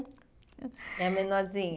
É menorzinha?